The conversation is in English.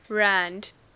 rand